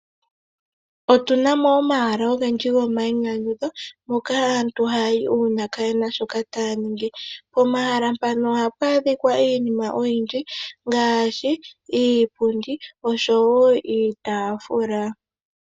Otunamo omahala ogendji go mayinyanyudho moka aantu ha yayi uuna kayena shoka taya ningi. Pomahala mpano ohapu adhika iinima oyindji ngaashi iipundi oshowo iitaafula.